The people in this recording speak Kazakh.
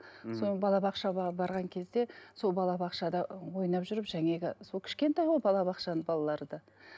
мхм соны балабақшаға барған кезде сол балабақшада ойнап жүріп сол кішкентай ғой балабақшаның балалары да